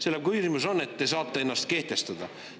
Selle põhjus on see, et te saate ennast kehtestada.